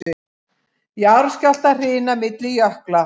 Jarðskjálftahrina milli jökla